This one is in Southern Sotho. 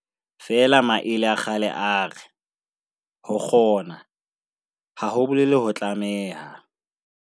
Feela maele a kgale a re, ho kgona, ha ho bolele ho tlameha.